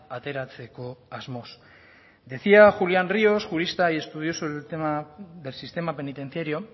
ateratzeko asmoz decía julián ríos jurista y estudioso en el tema del sistema penitenciario